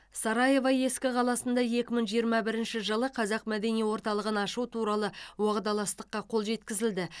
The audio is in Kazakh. сараево ескі қаласында екі мың жиырма бірінші жылы қазақ мәдени орталығын ашу туралы уағдаластыққа қол жеткізілді